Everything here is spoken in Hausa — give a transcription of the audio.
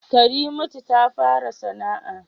Karimatu ta fara sana'a